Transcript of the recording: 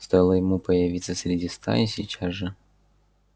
стоило ему появиться среди стаи сейчас же